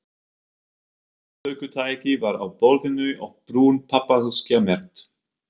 Upptökutæki var á borðinu og brún pappaaskja merkt